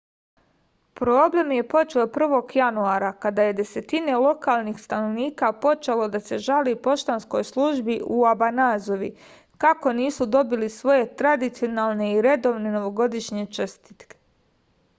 problem je počeo 1. januara kada je desetine lokalnih stanovnika počelo da se žali poštanskoj službi u obanazavi kako nisu dobili svoje tradicionalne i redovne novogodišnje čestitke